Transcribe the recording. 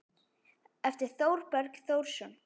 eftir Þorberg Þórsson